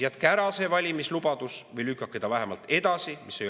Jätke ära see valimislubadus või lükake ta vähemalt edasi!